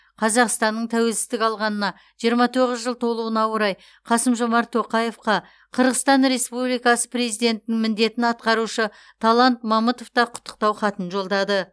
қазақстанның тәуелсіздік алғанына жиырма тоғыз жыл толуына орай қасым жомарт тоқаевқа қырғызстан республикасы президентінің міндетін атқарушы талант мамытов та құттықтау хатын жолдады